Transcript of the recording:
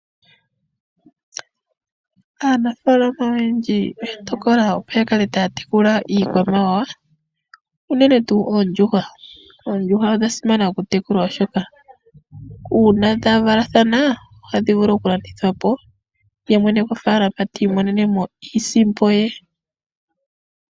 Aanafaalama oyendji oya tokola opo yakale taya tekula iikwamawawa uunene tuu oondjuhwa, oondjuhwa odha simana okutekulwa oshoka uuna dhavalathana ohadhi vulu okulandithwa po ye mwene gofaalama tiimonene mo iisimpo ye.